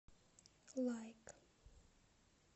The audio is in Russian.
лайк